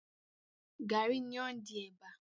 Garri ni ó ń di ẹ̀bà.